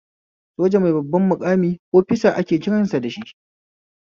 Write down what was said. Soja mai babban maƙami ofisa ake kiran dashi